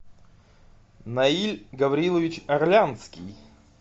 наиль гаврилович орлянский